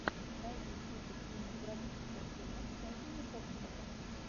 найди список кинематографических фильмов с энтони хопкинсом